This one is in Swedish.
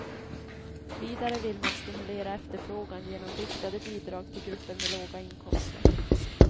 Vidare vill man stimulera efterfrågan genom riktade bidrag till grupper med låga inkomster.